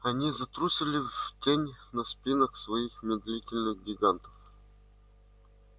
они затрусили в тень на спинах своих медлительных гигантов